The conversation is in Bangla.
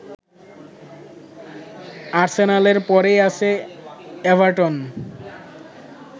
আর্সেনালের পরেই আছে এভারটন